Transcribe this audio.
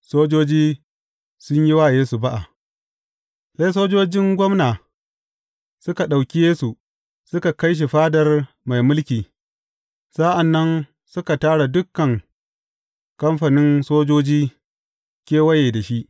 Sojoji sun yi wa Yesu ba’a Sai sojojin gwamna suka ɗauki Yesu suka kai shi Fadar mai mulki, sa’an nan suka tara dukan kamfanin sojoji kewaye da shi.